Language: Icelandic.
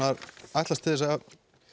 ætlast til þess að